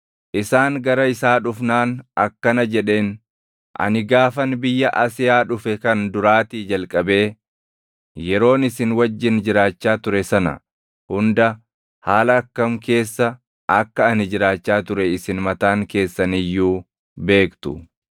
Isaan gara isaa dhufnaan akkana jedheen; “Ani gaafan biyya Asiyaa dhufe kan duraatii jalqabee yeroon isin wajjin jiraachaa ture sana hunda haala akkam keessa akka ani jiraachaa ture isin mataan keessan iyyuu beektu.